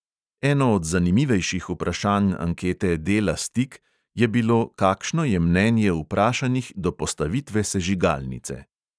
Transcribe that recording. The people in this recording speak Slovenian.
Eno od zanimivejših vprašanj ankete dela stik je bilo, kakšno je mnenje vprašanih do postavitve sežigalnice.